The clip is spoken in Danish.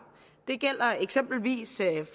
det gælder eksempelvis